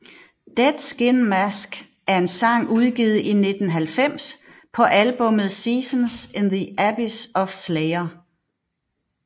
Dead Skin Mask er en sang udgivet i 1990 på albummet Seasons in the Abyss af Slayer